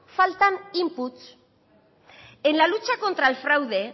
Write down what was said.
falta inputs en la lucha contra el fraude